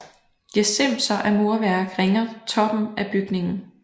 Gesimser af murværk ringer toppen af bygningen